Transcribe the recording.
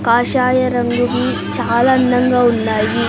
కాషాయ రంగువి చాలా అందంగా ఉన్నాయి.